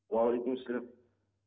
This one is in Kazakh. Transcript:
уағалейкум ассалям